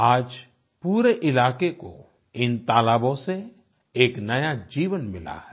आज पूरे इलाके को इन तालाबों से एक नया जीवन मिला है